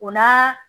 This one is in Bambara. O la